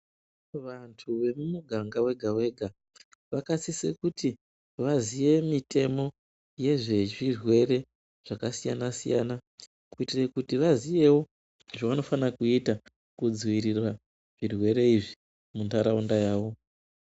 Vantu vemumuganga wega wega vakasise kuti vaziye mutemo wezvezvirwere zvakasiyana siyana kuitire kuti vaziyewo zvovanofanira kuita kudzirira zvirwere izvi muntaraunda yavo.